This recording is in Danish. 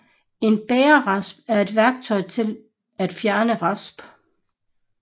En Bagerrasp er et værktøj til til at fjerne rasp